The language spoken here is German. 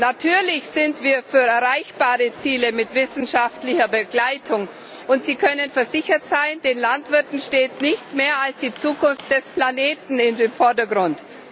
Natürlich sind wir für erreichbare Ziele mit wissenschaftlicher Begleitung, und Sie können versichert sein, den Landwirten steht nichts mehr als die Zukunft des Planeten im Vordergrund.